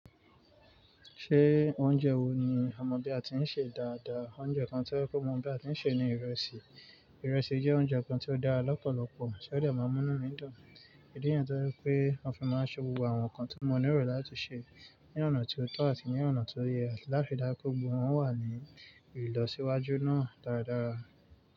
Ṣé oúnjẹ wo ni o mọ bí a ti ń sè dáadáa? Oúnjẹ kan tí o je pe mo mọ bí a ti ń sè ní ìrẹsì. Ìrẹsì jẹ́ oúnjẹ kan tí ó dára lọ́pọ̀lọpọ̀, ti ó dè má mú inú mi dùn? Ìdí nìyen tí ó je wipé mọ kan máa ṣe gbogbo àwọn nǹkan tí mo ní erò láti sè ní ọ̀nà tí ó tọ́ àti ní ọ̀nà ti ó yẹ, láti ri dáju pe gbògbó wòn wà ní ìlọsíwájú náà dáradára.